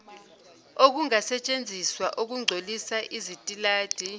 okungasetshenziswa okungcolisa izitaladi